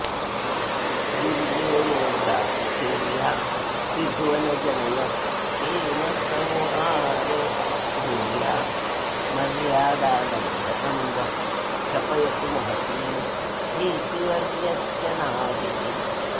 दुर्गेवोग्राकृतिर्या त्रिभुवनजननस्थेमसंहारधुर्या मर्यादालङ्घनं वः क्षपयतु महती हेतिवर्यस्य नाभिः